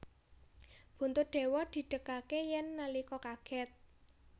Buntut dawa didegake yan nalika kaget